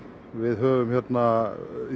við höfum hérna